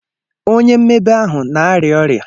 Onye mmebe ahụ na-arịa ọrịa.